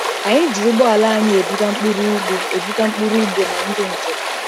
Anyị ji ụgbọala anyị ebuga mkpụrụ ugbo ebuga mkpụrụ ugbo na ndị njem.